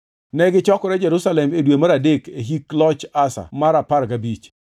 Negichokore Jerusalem e dwe mar adek e hik loch Asa mar apar gabich.